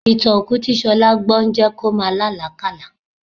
Ìtàn òkú tí Ṣọlá gbọ́ ń jẹ́ kí ó máa lá àlákálàá